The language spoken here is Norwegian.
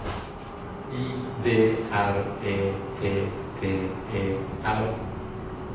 I D R E T T E R